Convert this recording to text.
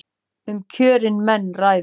Um kjörin menn ræða.